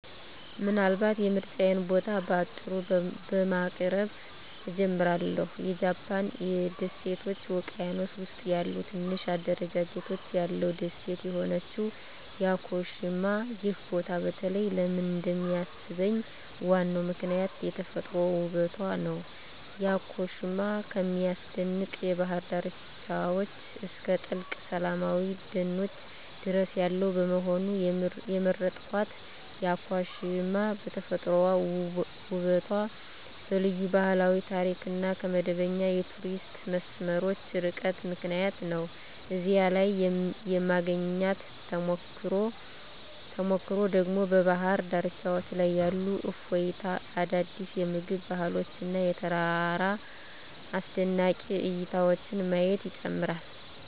ምናልባት የምርጫዬን ቦታ በአጭሩ በማቅረብ እጀምራለሁ -የጃፓን ደሴቶች ውቅያኖስ ውስጥ ያለ ትንሽ አደረጃጀት ያለው ደሴት የሆነችው ያኮሺማ። ይህ ቦታ በተለይ ለምን እንደሚሳብኝ ዋናው ምክንያት የተፈጥሮ ውበቱ ነው። ያኮሺማ ከሚያስደንቅ የባህር ዳርቻዎች እስከ ጥልቅ ሰላማዊ ደኖች ድረስ ያለው በመሆኑ። የመረጥኩት ያኮሺማ በተፈጥሯዊ ውበቷ፣ በልዩ ባህላዊ ታሪክ እና ከመደበኛ የቱሪስት መስመሮች ርቃታ ምክንያት ነው። እዚያ ላይ የማግኘት ተሞክሮ ደግሞ በባህር ዳርቻዎች ላይ ያለ እፎይታ፣ አዳዲስ የምግብ ባህሎች እና የተራራ አስደናቂ እይታዎችን ማየት ይጨምራል።